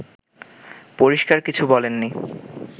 পরিষ্কার কিছু বলেননি